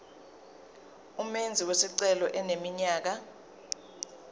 umenzi wesicelo eneminyaka